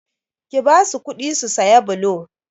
Ki basu kuɗi su saya blo!